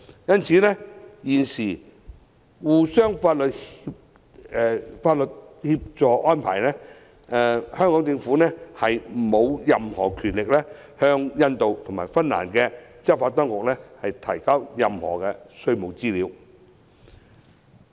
因此，在現行相互法律協助安排下，香港政府沒有任何權力向印度及芬蘭的執法當局提交任何稅務資料。